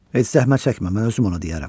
Heç zəhmət çəkmə, mən özüm ona deyərəm.